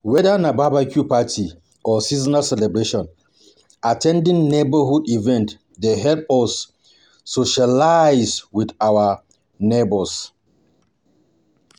Weda na barbecue party or seasonal celebration, at ten ding neigbourhood events dey help us socialize with our neignours